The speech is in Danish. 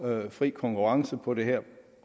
have fri konkurrence på det her